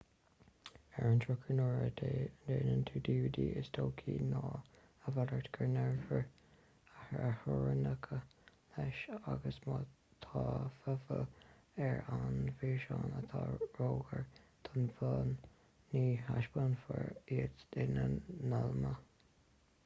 ar an drochuair nuair a dhéanann tú dvd is dóichí ná a mhalairt go ngearrfar a theorainneacha leis agus má tá fotheidil ar an bhfíseán atá róghar don bhun ní thaispeánfar iad ina n-iomláine